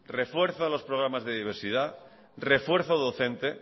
refuerzo a los programas de diversidad refuerzo docente